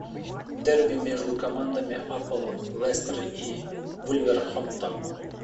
дерби между командами апл лестер и вулверхэмптон